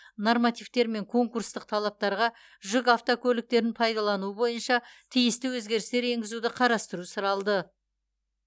нормативтер мен конкурстық талаптарға жүк автокөліктерін пайдалануы бойынша тиісті өзгерістер енгізуді қарастыру сұралды